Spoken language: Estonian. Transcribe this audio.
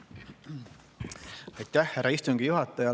Aitäh, härra istungi juhataja!